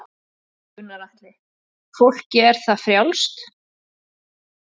Gunnar Atli: Fólki er það frjálst?